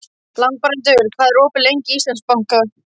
Þangbrandur, hvað er opið lengi í Íslandsbanka?